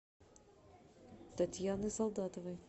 татьяны солдатовой